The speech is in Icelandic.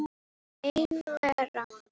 Ein vera.